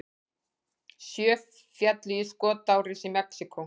Sjö féllu í skotárás í Mexíkó